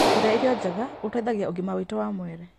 Kũrĩa irio njega gũteithagia ũgima witũ wa mwĩrĩ.